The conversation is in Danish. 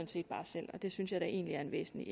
set bare selv og det synes jeg da egentlig er en væsentlig